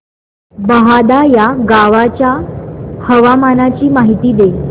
बहादा या गावाच्या हवामानाची माहिती दे